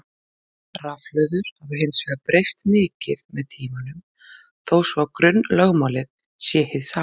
Rafhlöður hafa hins vegar breyst mikið með tímanum þó svo að grunnlögmálið sé hið sama.